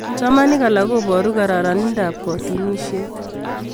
chamanik alak koporu kararanindap katunisiet